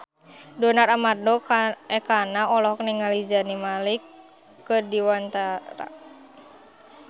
Donar Armando Ekana olohok ningali Zayn Malik keur diwawancara